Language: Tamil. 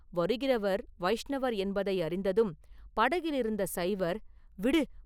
வருகிறவர் வைஷ்ணவர் என்பதை அறிந்ததும் படகிலிருந்த சைவர், “விடு!